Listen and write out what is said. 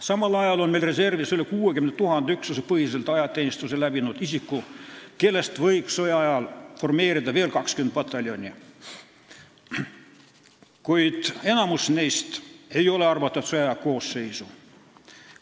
Samal ajal on meil reservis üle 60 000 üksusepõhiselt ajateenistuse läbi teinud isiku, kellest võiks sõjaajal formeerida veel 20 pataljoni, kuid enamik neist ei ole arvatud sõjaaja üksuste koosseisu.